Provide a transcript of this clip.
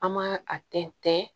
An ma a tɛntɛn